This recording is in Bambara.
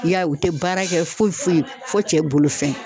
I y'a ye u te baara kɛ foyi foyi fo cɛ bolo fɛn .